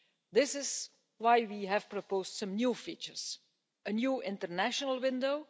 This is why we have proposed some new features a new international window